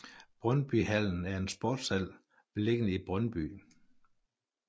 Brøndby Hallen er en sportshal beliggende i Brøndby